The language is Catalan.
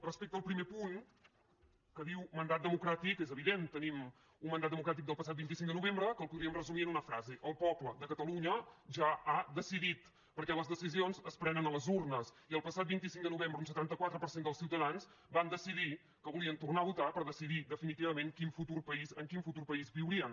respecte al primer punt que diu mandat democràtic és evident tenim un mandat democràtic del passat vint cinc de novembre que el podríem resumir en una frase el poble de catalunya ja ha decidit perquè les decisions es prenen a les urnes i el passat vint cinc de novembre un setanta quatre per cent dels ciutadans van decidir que volien tornar a votar per decidir definitivament en quin futur país viurien